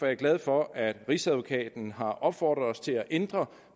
jeg glad for at rigsadvokaten har opfordret os til at ændre